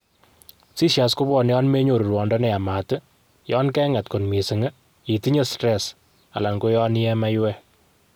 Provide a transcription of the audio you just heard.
seizures kopwone yon menyoru rwondo ne yamat yon kenget kot mising, itinye stress alan ko yon iye maiwek.